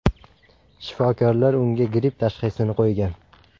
Shifokorlar unga gripp tashxisini qo‘ygan.